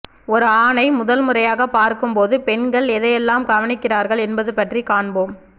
ஒரு ஆணை முதல் முறையாக பார்க்கும் போது பெண்கள் எதை எல்லாம் கவனிக்கிறார்கள் என்பது பற்றி காண்போம்